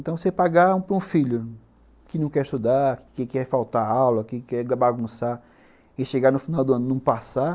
Então, você pagar para um filho que não quer estudar, que quer faltar aula, que quer bagunçar e chegar no final do ano e não passar,